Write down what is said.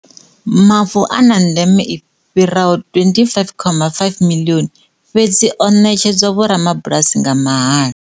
Mavu a na ndeme i fhi raho R25.5 miḽioni, fhedzi o ṋetshedzwa vhorabulasi nga mahala.